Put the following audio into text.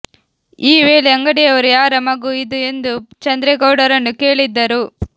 ಈ ವೇಳೆ ಅಂಗಡಿಯವರು ಯಾರ ಮಗು ಇದು ಎಂದು ಚಂದ್ರೇಗೌಡರನ್ನು ಕೇಳಿದ್ದರು